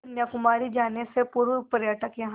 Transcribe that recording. कन्याकुमारी जाने से पूर्व पर्यटक यहाँ